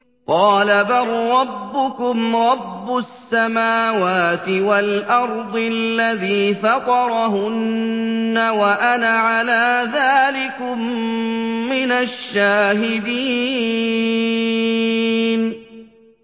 قَالَ بَل رَّبُّكُمْ رَبُّ السَّمَاوَاتِ وَالْأَرْضِ الَّذِي فَطَرَهُنَّ وَأَنَا عَلَىٰ ذَٰلِكُم مِّنَ الشَّاهِدِينَ